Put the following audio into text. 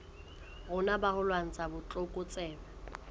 rona ba ho lwantsha botlokotsebe